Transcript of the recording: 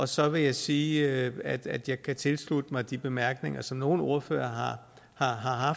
så vil jeg sige at at jeg kan tilslutte mig de bemærkninger som nogle ordførere har